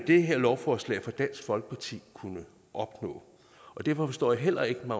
det her lovforslag fra dansk folkeparti kunne opnå og derfor forstår jeg heller ikke